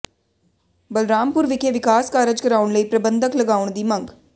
ਬਲਰਾਮਪੁਰ ਵਿਖੇ ਵਿਕਾਸ ਕਾਰਜ ਕਰਾਉਣ ਲਈ ਪ੍ਰਬੰਧਕ ਲਗਾਉਣ ਦੀ ਮੰਗ